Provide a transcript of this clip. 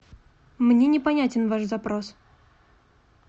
мне непонятен ваш запрос